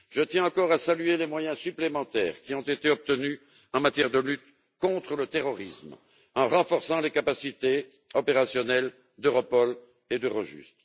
Je tiens encore à saluer les moyens supplémentaires qui ont été obtenus en matière de lutte contre le terrorisme, en renforçant les capacités opérationnelles d'Europol et d'Eurojust.